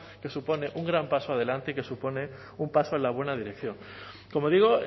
que supone un gran paso adelante y que supone un paso en la buena dirección como digo